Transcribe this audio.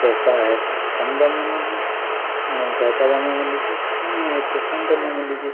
पैसा है तो काम दाम वाले ज्यादा --